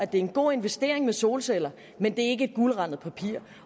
det er en god investering i solceller men ikke guldrandet papir